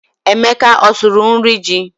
Emeka ọ sụrụ nri ji?